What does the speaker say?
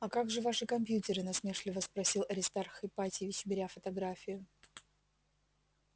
а как же ваши компьютеры насмешливо спросил аристарх ипатьевич беря фотографию